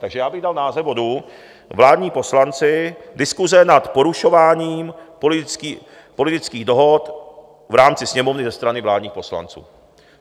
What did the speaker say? Takže já bych dal název bodu Vládní poslanci - diskuse nad porušováním politických dohod v rámci Sněmovny ze strany vládních poslanců.